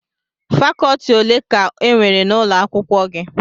Fakọtị ole ka enwere n'ụlọ akwụkwọ gị?